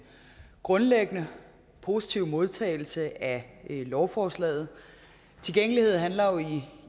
grundlæggende positive modtagelse af lovforslaget tilgængelighed handler jo